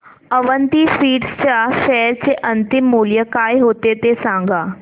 Avanti Feeds च्या share चे अंतिम मूल्य काय होते ते सांगा